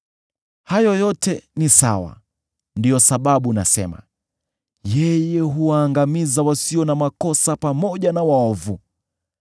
Hayo yote ni sawa; ndiyo sababu nasema, ‘Yeye huwaangamiza wasio na makosa pamoja na waovu.’